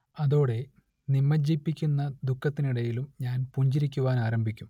അതോടെ നിമജ്ജിപ്പിക്കുന്ന ദുഃഖത്തിനിടയിലും ഞാൻ പുഞ്ചിരിക്കുവാനാരംഭിക്കും